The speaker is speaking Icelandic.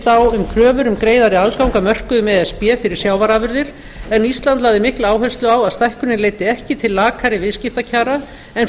á um kröfur um greiðari aðgang að mörkuðum e s b fyrir sjávarafurðir en íslands lagði mikla áherslu á að stækkunin leiddi ekki til lakari viðskiptakjara en